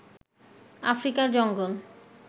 আফ্রিকার জঙ্গল